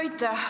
Aitäh!